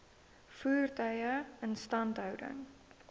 voertuie instandhouding